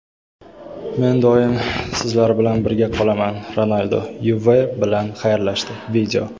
Men doim sizlar bilan birga qolaman – Ronaldu "Yuve" bilan xayrlashdi.